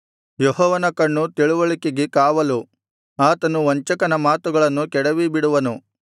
ಯೆಹೋವನ ಕಣ್ಣು ತಿಳಿವಳಿಕೆಗೆ ಕಾವಲು ಆತನು ವಂಚಕನ ಮಾತುಗಳನ್ನು ಕೆಡವಿಬಿಡುವನು